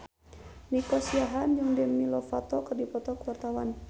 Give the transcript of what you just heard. Nico Siahaan jeung Demi Lovato keur dipoto ku wartawan